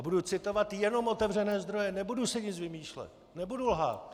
A budu citovat jenom otevřené zdroje, nebudu si nic vymýšlet, nebudu lhát.